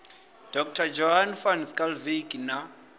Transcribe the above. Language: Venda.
dr johnny van schalkwyk na